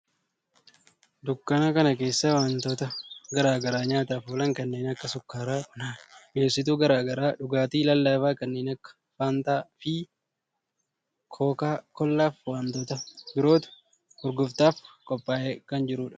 Dunkaana kana keessa wantoota garaa garaa nyaataf oolan kanneen akka sukkaara, buna, mi'eessituu garaa garaa, dhugaatii lallaafaa kanneen akka faantaa fi kookaa koollaa fi wantoota birootu gurgurtaaf qophaa'ee kan jirudha.